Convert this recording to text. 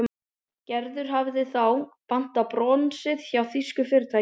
Gerður hafði þá þegar pantað bronsið hjá þýsku fyrirtæki.